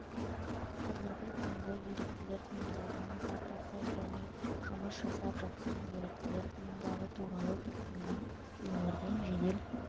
қазіргі таңда еріктілер ұйымдарының картасы және жұмыс жасап жатқан еріктілер ұйымдары туралы кез келген өңірден жедел